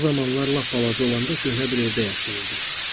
O zamanlar lap balaca olanda köhnə bir evdə yaşayırdım.